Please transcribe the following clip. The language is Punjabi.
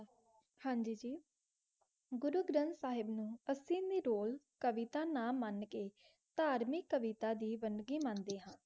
ਹਾਂਜੀ ਜੀ ਗੁਰੂ ਗ੍ਰਾੰਟ ਸਾਹਿਬ ਨੂ ਤਾਕ੍ਸਿਮੀ ਡੋਲ ਨਾ ਮਨ ਕ ਤਾਰ੍ਮਿਕ ਕਵੇਟਾ ਦੀ ਬੰਦਗੀ ਮਨ ਦੇ ਹਨ